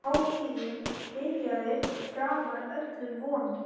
Hátíðin byrjaði framar öllum vonum.